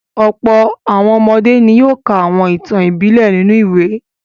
Ọ̀pọ̀ àwọn ọmọdé ni yóò ka àwọn ìtàn ìbílẹ̀ nínú ìwé.